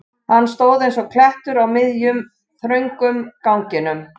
Hann stóð eins og klettur á miðjum, þröngum ganginum.